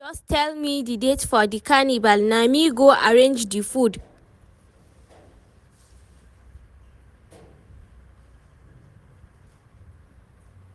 just tell me the date for di carnival, na me go arrange di food.